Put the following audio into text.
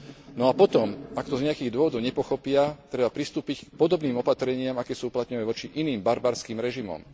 No a potom, ak to z nejakých dôvodov nepochopia, treba pristúpiť k podobným opatreniam, aké sú uplatňované voči iným barbarským režimom.